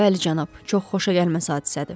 Bəli, cənab, çox xoşagəlməz hadisədir.